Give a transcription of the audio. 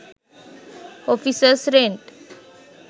offices rent